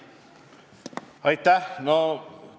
Aitäh!